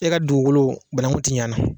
E ka dugukolo banakun tɛ ɲa na.